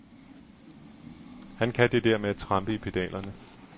Han kan det der med at trampe i pedalerne.